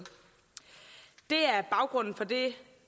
det er baggrunden for det